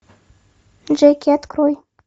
джеки открой